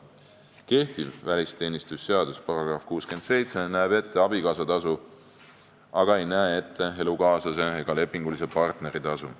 Kehtiva välisteenistuse seaduse § 67 näeb ette abikaasatasu, aga ei näe ette elukaaslase ega lepingulise partneri tasu.